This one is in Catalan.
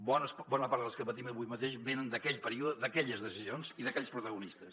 bona part de les que patim avui mateix venen d’aquell període d’aquelles decisions i d’aquells protagonistes